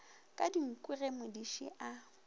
ka dinku ge modiši a